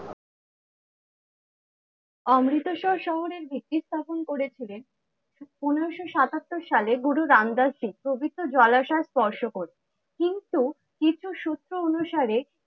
অমৃতসর শহরের ভিত্তি স্থাপন করেছিলেন পনেরোশো সাতাত্তর সালে গুরু রামদাসজী পবিত্র জলাশয় স্পর্শ করে। কিন্তু কিছু সূত্র অনুসারে